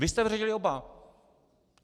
Vy jste vyřadili oba.